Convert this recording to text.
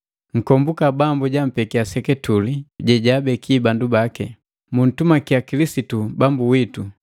Nkombuka Bambu jampekia seketule jejaabeki bandu baki. Muntumakiya Kilisitu Bambu witu!